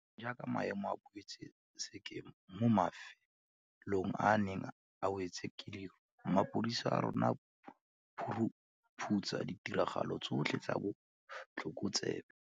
Jaanong jaaka maemo a boetse sekeng mo mafe long a a neng a wetswe ke leru, mapodisi a rona a phu ruphutsa ditiragalo tsotlhe tsa botlhokotsebe.